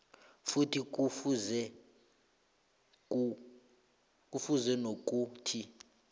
futhi kufuze nokuthi